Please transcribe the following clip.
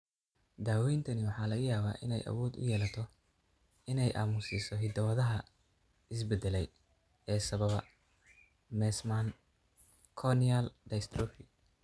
Daawayntani waxa laga yaabaa inay awood u yeelato inay aamusiso hidda-wadaha is-beddelay ee sababa Meesman corneal dystrophy.